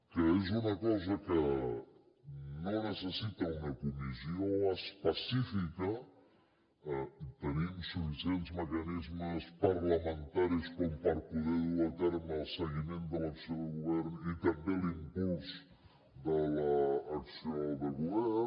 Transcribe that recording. que és una cosa que no necessita una comissió específica tenim suficients mecanismes parlamentaris com per poder dur a terme el seguiment de l’acció de govern i també l’impuls de l’acció de govern